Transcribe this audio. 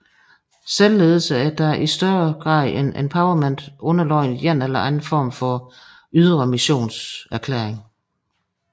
Selvledelse er dog i større grad end empowerment underlagt en eller anden form for ydre missionserklæring